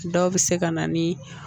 Dɔw bɛ se ka na ni